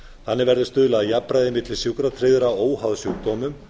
þannig kveður stuðlað jafnræði milli sjúkratryggðra óháð sjúkdómum